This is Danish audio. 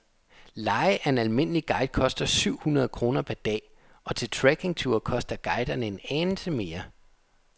Leje af en almindelig guide koster syv hundrede kroner per dag, og til trekkingture koster guiderne en anelse mere.